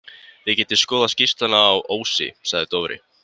Þið getið skoðað skýrsluna á Ósi, sagði Dofri.